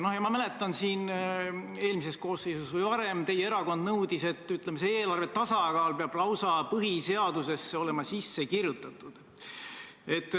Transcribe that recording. Ma mäletan, et eelmises koosseisus või varem teie erakond nõudis, et eelarve tasakaal peab olema lausa põhiseadusesse kirjutatud.